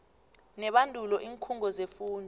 nebandulo iinkhungo zefundo